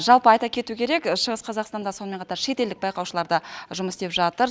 жалпы айта кету керек шығыс қазақстанда сонымен қатар шетелдік байқаушылар да жұмыс істеп жатыр